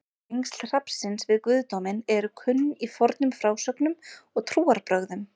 tengsl hrafnsins við guðdóminn eru kunn í fornum frásögnum og trúarbrögðum